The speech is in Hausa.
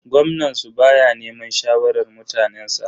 Gwamnan su baya neman shawarar mutanensa.